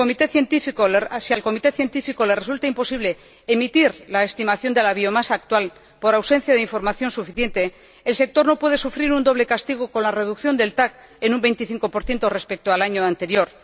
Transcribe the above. Si al Comité Científico le resulta imposible emitir la estimación de la biomasa actual por ausencia de información suficiente, el sector no puede sufrir un doble castigo con la reducción del TAC en un 25 respecto al año anterior.